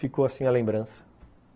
Ficou assim a lembrança.